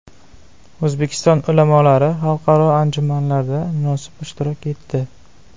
O‘zbekiston ulamolari xalqaro anjumanlarda munosib ishtirok etdi.